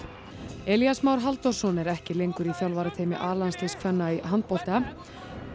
Elías Már Halldórsson er ekki lengur í þjálfarateymi a landsliðs kvenna í handbolta og